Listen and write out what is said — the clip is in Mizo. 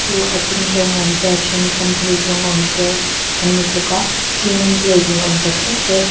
chu a dung zawng a awm te a then kham phei zawnga awm te an ni bawk a cement plate ni awm tak tak te --